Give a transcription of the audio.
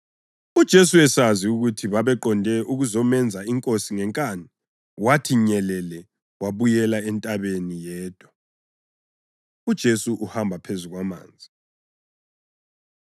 UJesu esazi ukuthi babeqonde ukuzomenza inkosi ngenkani, wathi nyelele wabuyela entabeni yedwa. UJesu Uhamba Phezu Kwamanzi